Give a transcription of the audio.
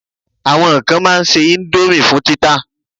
Àwọn kan ma n ṣe indomie fún títà